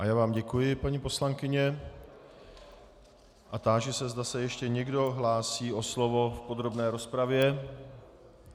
A já vám děkuji, paní poslankyně, a táži se, zda se ještě někdo hlásí o slovo v podrobné rozpravě.